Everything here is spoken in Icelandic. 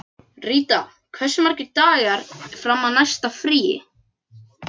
Ríta, hversu margir dagar fram að næsta fríi?